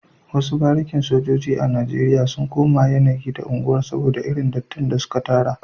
Wasu barikin sojoji a Najeriya sun koma yanayi da unguwar soboda irin dattin da suka tara